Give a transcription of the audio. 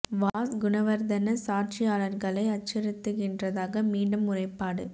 was Gunawardena சாட்சியாளர்களை அச்சுறுத்துகின்றதாக மீண்டும் முறைப்பாடு